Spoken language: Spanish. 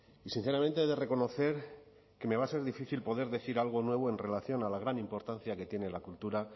y sinceramente he de reconocer que me va a ser difícil poder decir algo nuevo en relación a la gran importancia que tiene la cultura